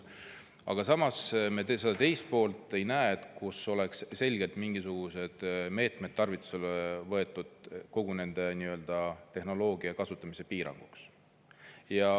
Aga samas me ei näe, et oleks selgelt mingisuguseid meetmeid tarvitusele võetud kogu Hiina tehnoloogia kasutamise piiramiseks.